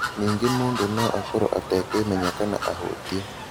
Ningĩ mũndũ no akorũo atekwĩmenya kana ahũtiĩ.